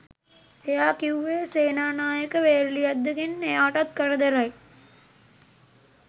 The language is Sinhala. එයා කිව්වේ සේනානායක වේරලියද්දගෙන් එයාටත් කරදරයි